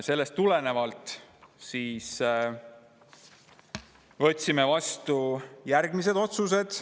Sellest tulenevalt võtsime vastu järgmised otsused.